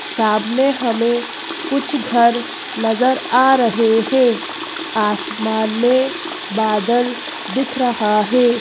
सामने हमें कुछ घर नज़र आ रहे हैं आसमान में बादल दिख रहा है।